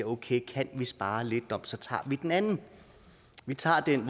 okay kan vi spare lidt så tager vi den anden vi tager den